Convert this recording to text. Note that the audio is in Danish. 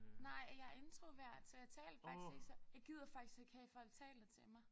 Nej jeg introvert så taler faktisk ikke så jeg gider faktisk ikke have folk taler til mig